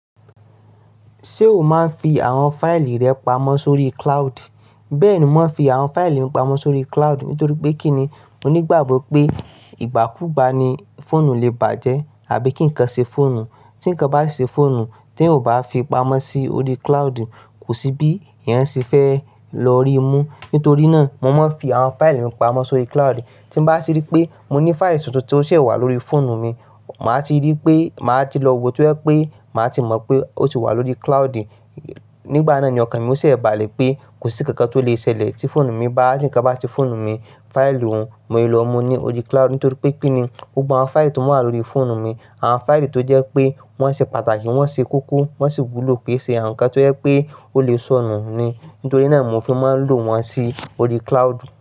Ṣé o máa ń fi àwọn fáìlì rẹ pamọ́ sórí cloud? Bẹ́ẹ̀ni, mo ń fi àwọn fáìlì mi pamọ́ sórí cloud nítorí pé kíni, mo ní ìgbàgbọ́ pé ìgbàkúgbà ni fóònù le bàjẹ́ àbí kí nǹkan ṣe fóònù. Tí ǹkan bá ṣe fóònù, tí ẹ̀yàn ò bá fi pamọ́ sí orí cloud, kò sí bí ẹ̀yàn ṣe fẹ́ lọ rí mú. Nítorí náà, mo máa ń fi àwọn fáìlì mi pamọ́ sórí cloud. Tí bá ti rí pé mo ní fáìlì tuntun tí ó ṣẹ̀ wà lórí fóònù mi, màá ti rí pé màá ti lọ wo tí ó yẹ pé màá ti mọ̀ pé ó ti wà lórí cloud. Nígbà náà ni ọkàn mi ó ṣẹ̀ bàlẹ̀ pé kò sí kankan tó le ṣẹlẹ̀ tí fóònù mi bá, tí ǹkan bá ti fóònù mi. Fáìlì òun mo lè lọ mú ní orí cloud nítorí pé kí ni, gbogbo àwọn fáìlì tó má n wà lórí fóònù mi. Àwọn fáìlì tó jẹ́ pé wọ́n ṣe pàtàkì, wọ́n ṣe kókó, wọ́n sì wúlò ké ṣe awọn ǹkan tó yẹ pé ó lè sọnù ni. Nítorí náà mo fi máa ń lò wọ́n sí orí cloud.